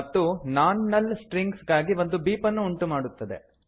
ಮತ್ತು non null strings ಗಾಗಿ ಒಂದು ಬೀಪ್ ಅನ್ನು ಉಂಟುಮಾಡುತ್ತದೆ